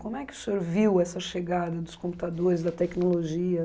Como é que o senhor viu essa chegada dos computadores, da tecnologia?